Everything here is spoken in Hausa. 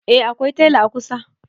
A akwai tela kusa